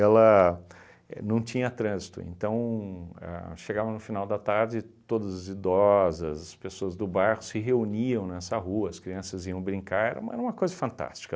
Ela é não tinha trânsito, então ahn chegava no final da tarde todas as idosas, as pessoas do bairro se reuniam nessa rua, as crianças iam brincar, era u era uma coisa fantástica.